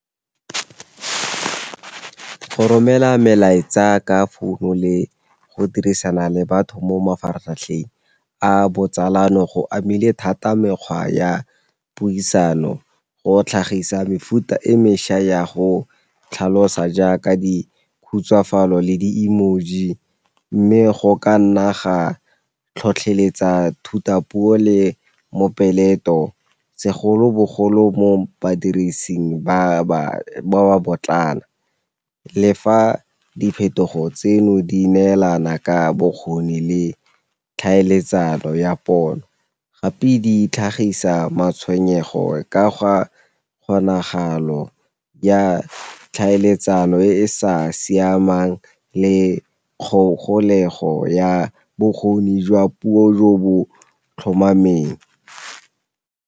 Go romela melaetsa ka founu le go dirisana le batho mo mafaratlhatlheng a botsalano go amile thata mekgwa ya puisano, go tlhagisa mefuta e mešwa ya go tlhalosa jaaka di khutsafalo le di emoji. Mme go ka nna ga tlhotlheletsa thutapuo le mopeleto segolobogolo mo badirising ba ba potlana le fa diphetogo tseno di neelana ka bokgoni le tlhaeletsano ya pono, gape di tlhagisa matshwenyego ka ga kgonagalo ya tlhaeletsano e e sa siamang le kgogolego ya bokgoni jwa puo jo bo tlhomameng.